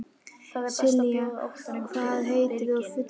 Sylgja, hvað heitir þú fullu nafni?